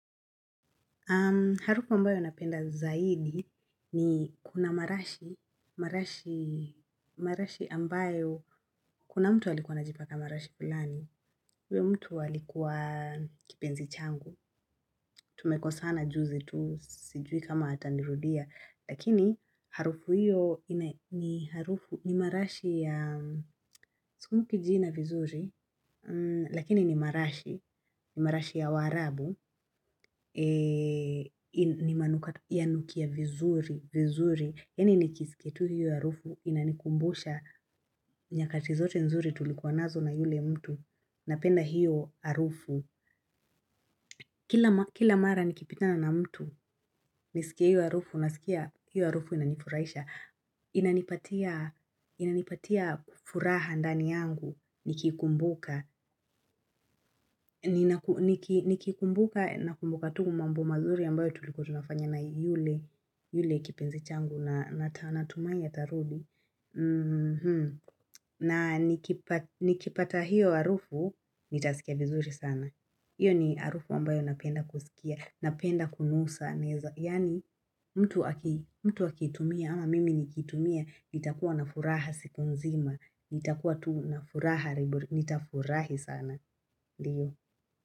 Harufu ambayo napenda zaidi ni kuna marashi ambayo kuna mtu alikuwa anajipaka marashi fulani. Huyo mtu walikuwa kipenzi changu, tumekosana juzi tu sijui kama atanirudia. Lakini harufu hiyo ni harufu ni marashi ya sikumbuki jina vizuri, lakini ni marashi, ni marashi ya waarabu, ni manukato yanukia vizuri, vizuri. Yaani nikiskia hiyo harufu inanikumbusha nyakati zote nzuri tulikuwa nazo na yule mtu, napenda hiyo harufu. Kila mara nikipitana na mtu, niskie hiyo harufu, nasikia hiyo harufu inanifuraisha inanipatia furaha ndani yangu, nikikumbuka nakumbuka tu mambo mazuri ambayo tulikuwa tunafanya na yule kipenzi changu na natumai ya tarudi na nikipata hiyo harufu, nitasikia vizuri sana Iyo ni harufu ambayo napenda kusikia, napenda kunusa, yani mtu akitumia ama mimi nikitumia, nitakuwa na furaha siku nzima, nitakuwa tu na furaha, nitafurahi sana, ndiyo.